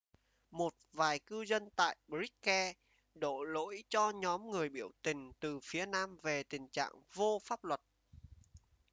một vài cư dân tại bishkek đổ lỗi cho nhóm người biểu tình từ phía nam về tình trạng vô pháp luật